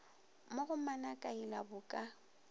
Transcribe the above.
mo go manakaila bo ka